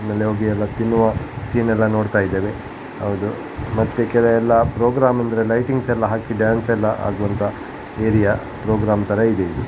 ಆಮೇಲೆ ಹೋಗಿ ಎಲ್ಲ ತಿನ್ನುವ ಸೀನ್ ಎಲ್ಲ ನೋಡ್ತಾ ಇದ್ದೇವೆ ಹೌದು ಮತ್ತೆ ಕೆಲವೆಲ್ಲ ಪ್ರೋಗ್ರಾಮ್ ಅಂದ್ರೆ ಲೈಟಿಂಗ್ಸ್ ಎಲ್ಲ ಹಾಕಿ ಡಾನ್ಸ್ ಎಲ್ಲ ಆಗುವಂತ ಏರಿಯಾ ಪ್ರೋಗ್ರಾಮ್ ತರ ಇದೆ ಇದು.